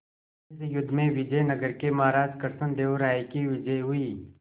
इस युद्ध में विजय नगर के महाराज कृष्णदेव राय की विजय हुई